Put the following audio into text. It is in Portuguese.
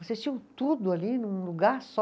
Vocês tinham tudo ali num lugar só?